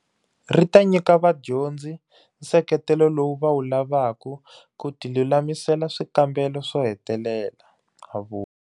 Ri ta nyika vadyondzi nseketelo lowu va wu lavaka ku tilulamisela swikambelo swo hetelela, a vula.